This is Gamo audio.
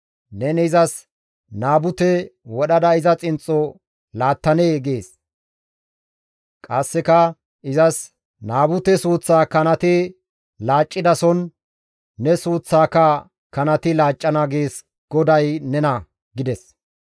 Neni izas, ‹Naabute wodhada iza xinxxo laattanee?› gees. Qasseka izas, ‹Naabute suuththaa kanati laaccidason ne suuththaaka kanati laaccana› gees GODAY nena» gides.